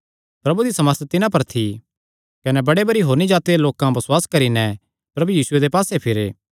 प्रभु दी सामर्थ तिन्हां पर थी कने बड़े भरी होरनी जाति दे लोकां बसुआस करी नैं प्रभु यीशुये दे पास्से फिरे